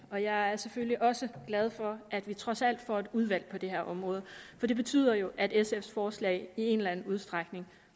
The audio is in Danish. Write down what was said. og jeg er selvfølgelig også glad for at vi trods alt får et udvalg på det her område for det betyder jo at sf’s forslag i en eller anden udstrækning